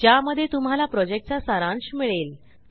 ज्यामध्ये तुम्हाला प्रॉजेक्टचा सारांश मिळेल